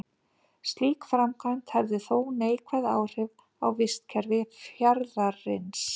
Slík framkvæmd hefði þó neikvæð áhrif á vistkerfi fjarðarins.